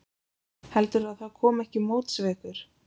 Heldurðu að það komi ekki móts við ykkur?